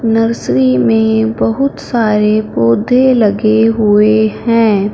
Nursery में बहुत सारे पौधे लगे हुए हैं।